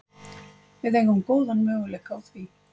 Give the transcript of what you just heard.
Við eigum góðan möguleika á því